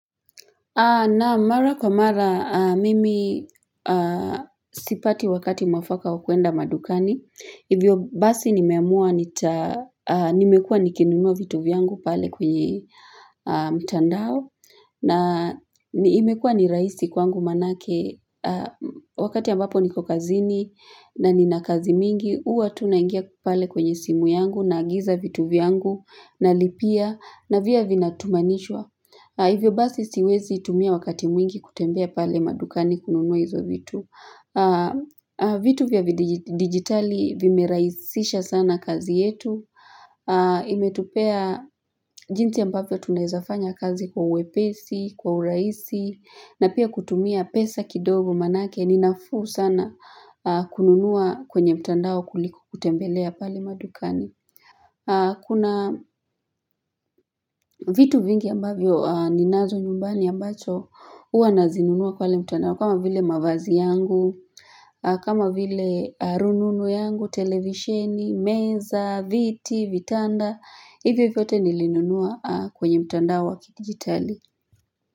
Naam mara kwa mara, mimi sipati wakati mwafaka wa kuenda madukani. Hivyo basi nimeamua, nimekuwa nikinununua vitu vyangu pale kwenye mtandao. Na imekua ni rahisi kwangu manake, wakati ambapo niko kazini na nina kazi mingi, huwa tu naingia pale kwenye simu yangu naagiza vitu vyangu nalipia navyo vina tumanishwa. Hivyo basi siwezi tumia wakati mwingi kutembea pale madukani kununua hizo vitu. Vitu vya digitali vimerahisisha sana kazi yetu. Imetupea jinsi ambavyo tunaweza fanya kazi kwa uepesi, kwa urahisi. Na pia kutumia pesa kidogo manake ni nafuu sana kununua kwenye mtandao kuliko kutembelea pale madukani. Kuna vitu vingi ambavyo ninazo nyumbani ambacho hua nazinunua pale mtandao kama vile mavazi yangu, kama vile rununu yangu, televisheni, meza, viti, vitanda, hivyo vyote nilinunua kwenye mtandao wa kigitali.